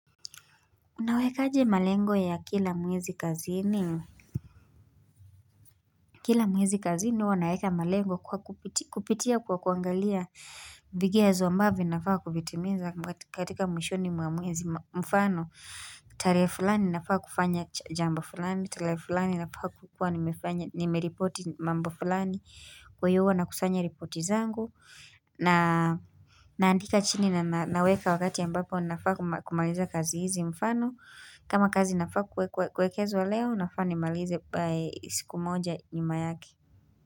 Unawekaje malengo ya kila mwezi kazini. Kila mwezi kazini huwa naweka malengo kwa kupitia kwa kuangalia vigezo ambavyo vinafaa kuvitimiza katika mwishoni mwa mwezi mfano. Tarehe fulani nafaa kufanya jambo fulani, tarehe fulani nafaa kuwa nimefanya nimeripoti mambo fulani kwaiyo huwa nakusanya ripoti zangu na naandika chini na naweka wakati ambapo nafaa kumaliza kazi hizi mfano. Kama kazi zinafaa kuwekwa kuwekezwa leo, nafaa nimalize by siku moja nyuma yake.